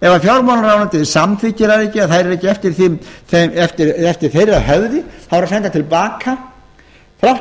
ef fjármálaráðuneytið samþykkir þær ekki eða þær eru ekki eftir þeirra höfði þá eru þær sendar til baka þrátt